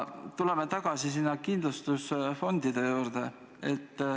Tuleme tagasi kindlustusfondide juurde.